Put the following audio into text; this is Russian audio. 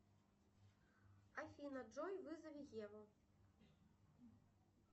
афина джой вызови еву